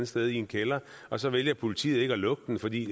sted i en kælder og så vælger politiet ikke er lukke den fordi